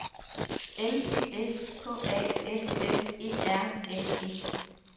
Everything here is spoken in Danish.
L Y S K A S S E R N E